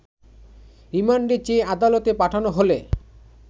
রিমান্ডে চেয়ে আদালতে পাঠানো হলে